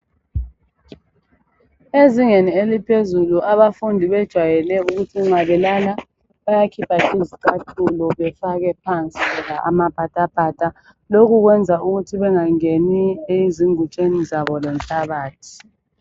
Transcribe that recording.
Ezingeni eliphezulu abafundi bejayele ukuthi nxa belala bayakhipha izicathulo befake phansi loba amapatapata lokhu kwenza ukuthi bengangeni ezingutsheni zabo lenhlabathi.